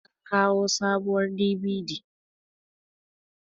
an kawo sabuwar DVD